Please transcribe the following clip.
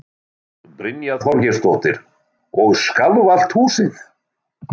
Brynja Þorgeirsdóttir: Og skalf allt húsið?